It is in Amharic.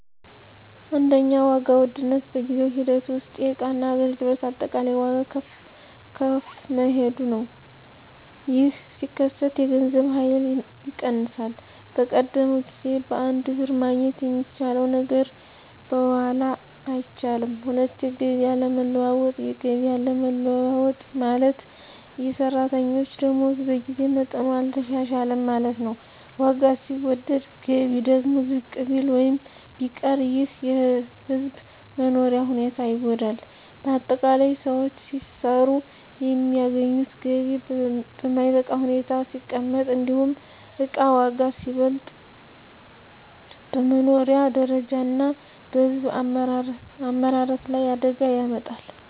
1. ዋጋ ውድነት በጊዜ ሂደት ውስጥ የእቃና አገልግሎት አጠቃላይ ዋጋ ከፍ መሄዱ ነው። ይህ ሲከሰት የገንዘብ ኃይል ይቀንሳል፤ በቀደመው ጊዜ በአንድ ብር ማግኘት የሚቻለው ነገር በኋላ አይቻልም። 2. የገቢ አለመለወጥ የገቢ አለመለወጥ ማለት፣ የሰራተኞች ደመወዝ በጊዜ መጠኑ አልተሻሻለም ማለት ነው። ዋጋ ሲወደድ ገቢ ደግሞ ዝቅ ቢል ወይም ቢቀር ይህ የሕዝብ መኖሪያ ሁኔታን ይጎዳል። ✅ በአጠቃላይ: ሰዎች ሲሰሩ የሚያገኙት ገቢ በማይበቃ ሁኔታ ሲቀመጥ፣ እንዲሁም እቃ ዋጋ ሲበልጥ፣ በመኖሪያ ደረጃ እና በሕዝብ አመራረት ላይ አደጋ ያመጣል።